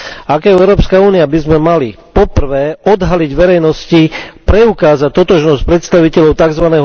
Ako Európska únia by sme mali, po prvé, odhaliť verejnosti preukázať totožnosť predstaviteľov tzv.